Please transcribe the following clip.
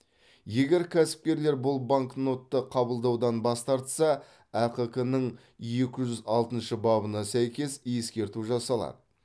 егер кәсіпкерлер бұл банкнотты қабылдаудан бас тартса әқк ның екі жүз алтыншы бабына сәйкес ескерту жасалады